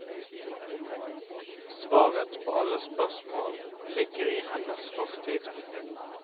Svaret på alle spørsmål ligger i hennes fortid.